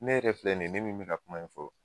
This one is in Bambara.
Ne yɛrɛ filɛ nin ye ne min bɛ ka kuma in fɔ